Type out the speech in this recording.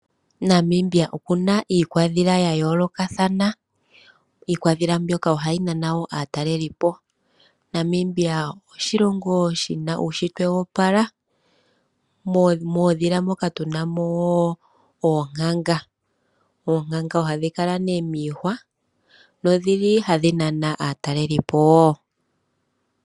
Namibia okuna iikwadhila ya yoolokathana . Iikwadhila mbyoka wo ohayi nana aataleli po. Namibia oshilongo shina uushitwe wo opala muudhila moka tu na mo woo oonkanga, oonkanga ohadhi kala miihwa nodhi li hadhi nana aataleli po wo.